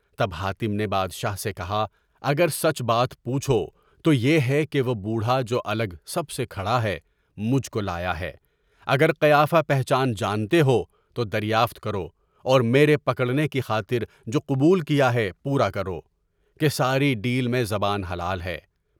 تب حاتم نے بادشاہ سے کہا اگر سچ بات پوچھو، تو یہ ہے کہ وہ بوڑھا جو الگ سب سے کھڑا ہے، مجھ کو لایا ہے۔ اگر قیافہ پہچان جانتے ہو تو دریافت کرو اور میرے پکڑنے کی خاطر جو قبول کیا ہے، پورا کرو کہ ساری ڈیل میں زبان حلال ہے۔